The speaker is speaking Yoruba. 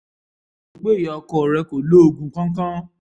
mo rò pé ìyá ọkọ rẹ kò lo oògùn kankan